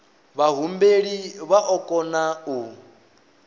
vhahumbeli vha o kona u